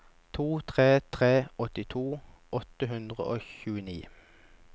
to tre tre tre åttito åtte hundre og tjueni